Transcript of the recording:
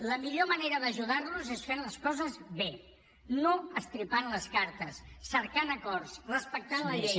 la millor manera d’ajudar los és fent les coses bé no estripant les cartes cercant acords respectant la llei